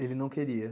Ele não queria.